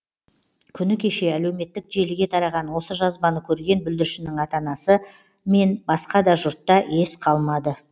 күні кеше әлеуметтік желіге тараған осы жазбаны көрген бүлдіршіннің ата анасы мен басқа да жұртта ес қалмады